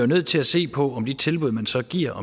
nødt til at se på om de tilbud man så giver